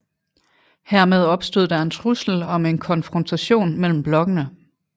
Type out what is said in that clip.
Hermed opstod der en trussel om en konfrontation mellem blokkene